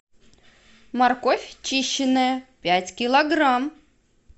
морковь чищенная пять килограмм